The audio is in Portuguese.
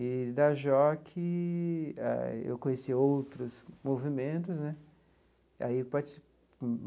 E, da JOC ah, eu conheci outros movimentos né e aí